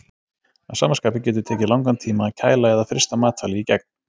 Að sama skapi getur tekið langan tíma að kæla eða frysta matvæli í gegn.